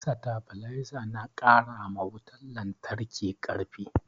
Satabiliza na karama wutan lantraki karfi